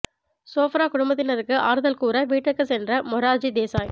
சோப்ரா குடும்பத்தினருக்கு ஆறுதல் கூற வீட்டிற்கு சென்ற மொரார்ஜி தேசாய்